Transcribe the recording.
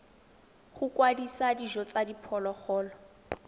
go kwadisa dijo tsa diphologolo